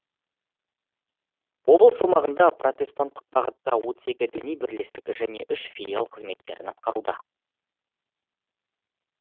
облыс аумағында протестанттық бағытта отыз екі діни бірлестік және үш филиал қызметтерін атқаруда